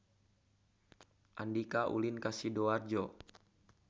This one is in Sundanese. Andika ulin ka Sidoarjo